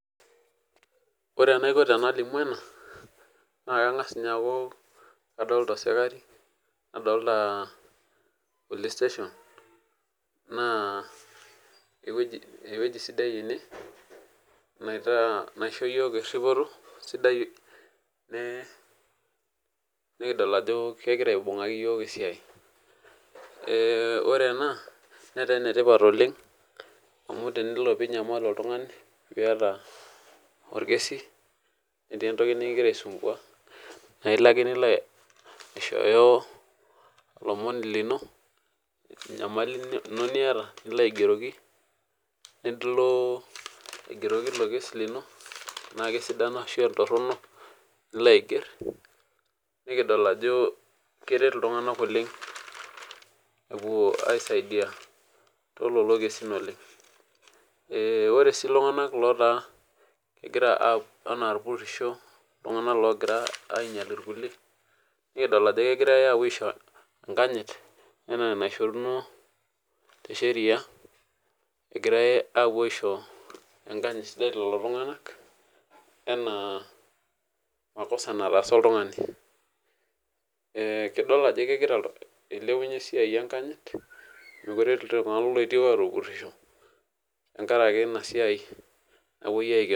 Ore enaiko tenalimu ena na kangas ninye aaku kadolta osikarii nadolta police station na ewueji sidai enebnaisjo yiok eripito ore ena netaa enetipat oleng amu tenelo neaku enyanal oltungani niata orkesu netii entoki nikingira aitumia nilo aishooyo nilo aigeroki ilo kesi lino na kesidan ana ntorinok nilo aiger nikidol ako kelo aiger aisaidia tololokesin oleng ore si ltunganak otaa kepuo ana irpurisho ltunganak opuoito ainyal irkulie nikidol ajo kegirai aisho enkanyit anaaenaishori ninche anaa makosa naataasa oltungani kidol ajo ilepumye esiaia enkanyit mekute etii ltunganak opuo apurisho tenkaraki inasia napuoi aikenoo.